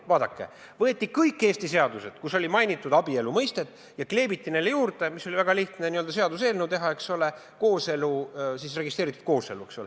Vaadake, võeti kõik Eesti seadused, kus oli mainitud abielu mõistet, ja kleebiti sinna juurde – oli väga lihtne n-ö seaduseelnõu teha, eks ole – registreeritud kooselu.